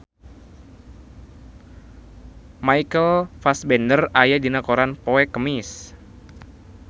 Michael Fassbender aya dina koran poe Kemis